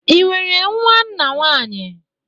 Ị nwere nwa nna nwanyị?